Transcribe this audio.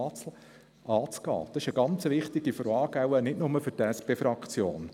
Diese Frage ist sehr wichtig, wahrscheinlich nicht nur für die SP-JUSO-PSAFraktion.